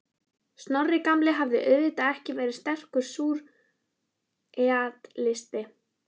Snorri gamli hafði auðvitað ekki verið sterkur súrrealisti.